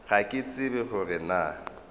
ga ke tsebe gore na